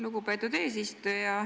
Lugupeetud eesistuja!